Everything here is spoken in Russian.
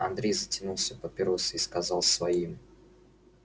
андрей затянулся папиросой и сказал своим